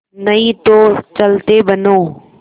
नहीं तो चलते बनो